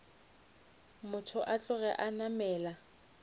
motho a tloge a namela